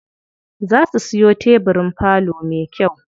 Za su siyo tebirin falo me kyau.